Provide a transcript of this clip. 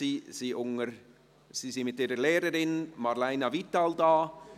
Sie sind mit ihrer Lehrerin Marleina Vital da.